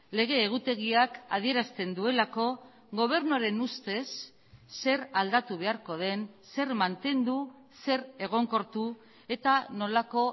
lege egutegiak adierazten duelako gobernuaren ustez zer aldatu beharko den zer mantendu zer egonkortu eta nolako